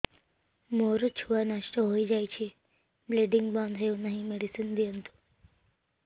ମୋର ଛୁଆ ନଷ୍ଟ ହୋଇଯାଇଛି ବ୍ଲିଡ଼ିଙ୍ଗ ବନ୍ଦ ହଉନାହିଁ ମେଡିସିନ ଦିଅନ୍ତୁ